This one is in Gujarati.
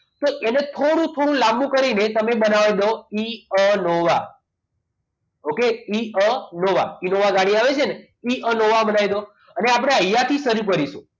તો એને થોડું થોડું લાંબુ કરીને તમે બનાવી દો ઈઅનોવા okay ઈઅનોવા ઈનોવા ગાડી આવે છે ને એ એનો બનાવી દો અને આપણે અહીંયા થી શરું કરીશું